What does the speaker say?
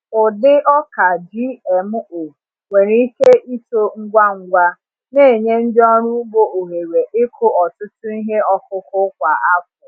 Ụdị ọka GMO nwere ike ito ngwa ngwa, na-enye ndị ọrụ ugbo ohere ịkụ ọtụtụ ihe ọkụkụ kwa afọ.